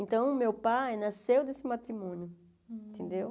Então, o meu pai nasceu desse matrimônio, entendeu?